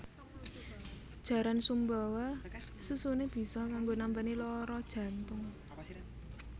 Jaran Sumbawa susune biso kanggo nambani loro jantung